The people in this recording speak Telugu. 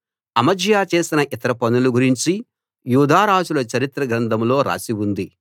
అమజ్యా చేసిన ఇతర పనుల గురించి యూదా రాజుల చరిత్ర గ్రంథంలో రాసి ఉంది